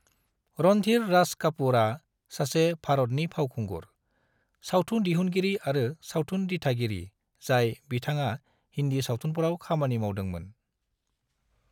रणधीर राज कपूरआ सासे भरतनि फावखुंगुर, सावथुन दिहुनगिरि आरो सावथुन दिथागिरि जाय बिथांआ हिंदी सावथुनफोराव खामानि मावदोंमोन ।